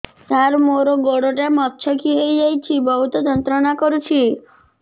ସାର ମୋର ଗୋଡ ଟା ମଛକି ଯାଇଛି ବହୁତ ଯନ୍ତ୍ରଣା କରୁଛି